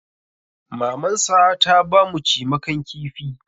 Mamansa ta ba mu cimakan kifi.